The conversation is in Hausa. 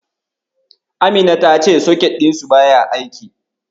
Amina ta ce soket ɗinsu baya aiki.